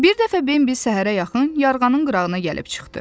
Bir dəfə Bembi səhərə yaxın yarğanın qırağına gəlib çıxdı.